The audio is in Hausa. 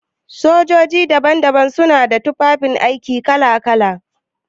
Sojoji daban-daban su na da tufafi aiki kala-kala.